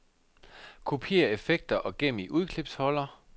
Kopiér effekter og gem i udklipsholder.